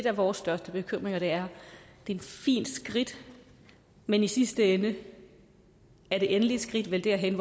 af vores største bekymringer det er et fint skridt men i sidste ende er det endelige skridt vel derhen